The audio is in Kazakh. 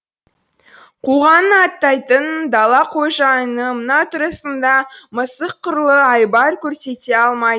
қуғанын аттайтын дала қожайыны мына тұрысында мысық құрлы айбар көрсете алмайды